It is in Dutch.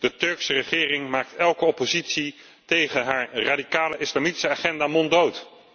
De Turkse regering maakt elke oppositie tegen haar radicale islamitische agenda monddood.